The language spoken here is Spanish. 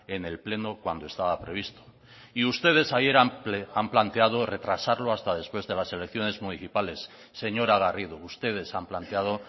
en el pleno cuando estaba previsto y ustedes ayer han planteado retrasarlo hasta después de las elecciones municipales señora garrido ustedes han planteado